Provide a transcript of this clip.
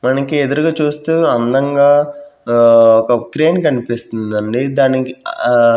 మనకి ఎదురుగా చూస్తే అందంగా ఆ ఒక క్రేన్ కనిపిస్తుందండి దానికి ఆ--